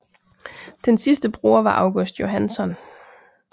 Den sidste bruger var August Johansson